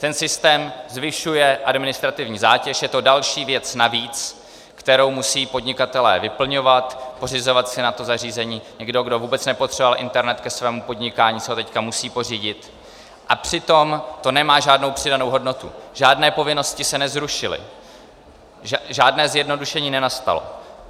Ten systém zvyšuje administrativní zátěž, je to další věc navíc, kterou musí podnikatelé vyplňovat, pořizovat si na to zařízení, někdo, kdo vůbec nepotřeboval internet ke svému podnikání, si ho teď musí pořídit, a přitom to nemá žádnou přidanou hodnotu, žádné povinnosti se nezrušily, žádné zjednodušení nenastalo.